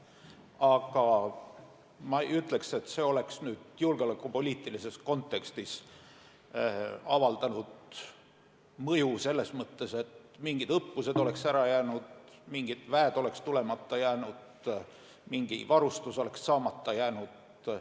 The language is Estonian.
Aga ma ei ütleks, et see oleks nüüd julgeolekupoliitilises kontekstis avaldanud mõju selles mõttes, et mingid õppused oleks ära jäänud, mingid väed oleks tulemata jäänud, mingi varustus oleks saamata jäänud.